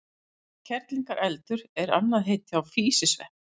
Orðið kerlingareldur er annað heiti á físisvepp.